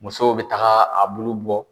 Musow bɛ taga a bulu bɔ